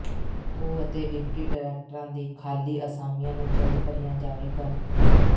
ਓ ਅਤੇ ਡਿਪਟੀ ਡਾਇਰੈਕਟਰਾਂ ਦੀ ਖਾਲੀ ਅਸਾਮੀਆਂ ਨੂੰ ਜਲਦ ਭਰੀਆਂ ਜਾਵੇਗਾ